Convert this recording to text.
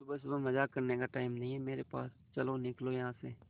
सुबह सुबह मजाक करने का टाइम नहीं है मेरे पास चलो निकलो यहां से